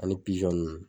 Ani ninnu